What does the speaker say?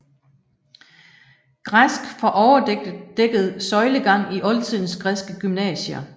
Græsk for overdækket søjlegang i oldtidens græske gymnasier